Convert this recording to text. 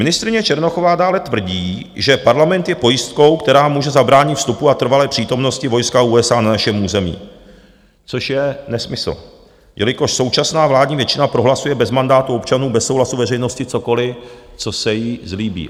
Ministryně Černochová dále tvrdí, že Parlament je pojistkou, která může zabránit vstupu a trvalé přítomnosti vojska USA na našem území - což je nesmysl, jelikož současná vládní většina prohlasuje bez mandátu občanů, bez souhlasu veřejnosti cokoliv, co se jí zlíbí.